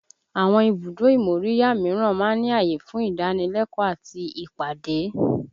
Àwọn ibùdó ìmóríyá míràn máa ń ní ààyè fún ìdánilẹ́kọ̀ọ́ àti ìpàdé